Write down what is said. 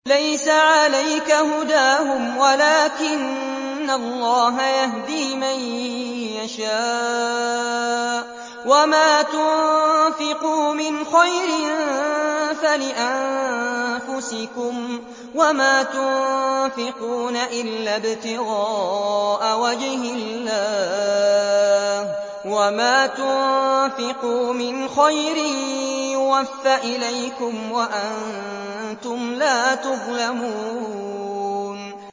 ۞ لَّيْسَ عَلَيْكَ هُدَاهُمْ وَلَٰكِنَّ اللَّهَ يَهْدِي مَن يَشَاءُ ۗ وَمَا تُنفِقُوا مِنْ خَيْرٍ فَلِأَنفُسِكُمْ ۚ وَمَا تُنفِقُونَ إِلَّا ابْتِغَاءَ وَجْهِ اللَّهِ ۚ وَمَا تُنفِقُوا مِنْ خَيْرٍ يُوَفَّ إِلَيْكُمْ وَأَنتُمْ لَا تُظْلَمُونَ